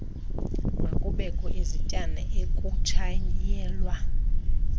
makubekho izityana ekutshayelwa